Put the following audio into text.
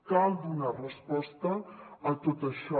cal donar resposta a tot això